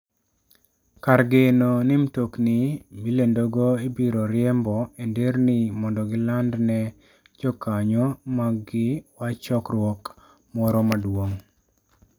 Kar geno ni mtokni milendogo ibiro riembo e nderni mondo giland ne jokanyo maggi wach chokruok moro maduong.